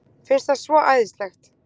Finnst það svo æðislegt.